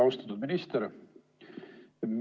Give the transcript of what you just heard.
Austatud minister!